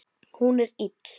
Hún er ill.